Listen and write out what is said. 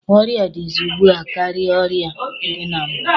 Ọrịa dịzị ugbua karịrị ọrịa dị na mbụ.